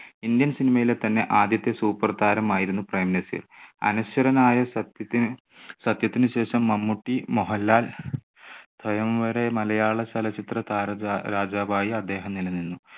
indian cinema യിലെ തന്നെ ആദ്യത്തെ super താരമായിരുന്നു പ്രേംനസീർ. അനശ്വരനായ സത്യത്തിന്, സത്യത്തിന് ശേഷം മമ്മൂട്ടി, മോഹൻലാൽ സ്വയംവര മലയാളചലച്ചിത്ര താരരാ~രാജാവായി അദ്ദേഹം നിലനിന്നു.